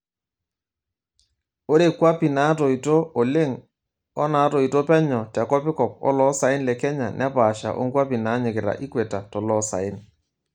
Ore kwapi naatoito oleng' oo natoito penyo te kopikop oloosaen le Kenya nepaasha onkwapi naanyikita equetor toloosaen.